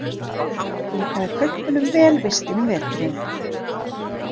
Líkaði kaupmönnum vel vistin um veturinn.